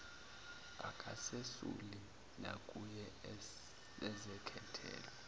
akazesuli nakuye uzekhethelo